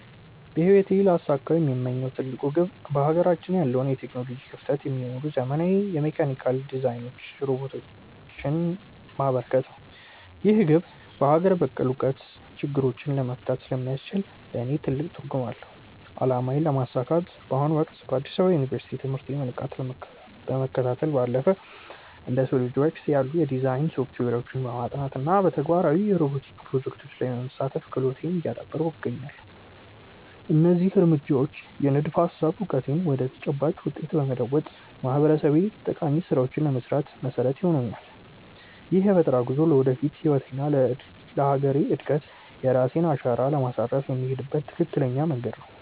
በህይወቴ ሊያሳኩት የምመኘው ትልቁ ግብ በሀገራችን ያለውን የቴክኖሎጂ ክፍተት የሚሞሉ ዘመናዊ የሜካኒካል ዲዛይኖችንና ሮቦቲክስ ፈጠራዎችን ማበርከት ነው። ይህ ግብ በሀገር በቀል እውቀት ችግሮችን መፍታት ስለሚያስችል ለእኔ ትልቅ ትርጉም አለው። አላማዬን ለማሳካት በአሁኑ ወቅት በአዲስ አበባ ዩኒቨርሲቲ ትምህርቴን በንቃት ከመከታተል ባለፈ፣ እንደ SOLIDWORKS ያሉ የዲዛይን ሶፍትዌሮችን በማጥናት እና በተግባራዊ የሮቦቲክስ ፕሮጀክቶች ላይ በመሳተፍ ክህሎቴን እያዳበርኩ እገኛለሁ። እነዚህ እርምጃዎች የንድፈ-ሀሳብ እውቀቴን ወደ ተጨባጭ ውጤት በመለወጥ ለማህበረሰቤ ጠቃሚ ስራዎችን ለመስራት መሰረት ይሆኑኛል። ይህ የፈጠራ ጉዞ ለወደፊት ህይወቴና ለሀገሬ እድገት የራሴን አሻራ ለማሳረፍ የምሄድበት ትክክለኛ መንገድ ነው።